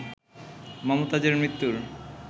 মমতাজের মৃত্যুর